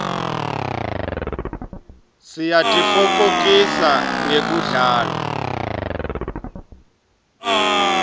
siyatitfokotisa ngekudlala